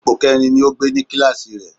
Ipò kẹrin ni ó gbé ní kíláàsì rẹ̀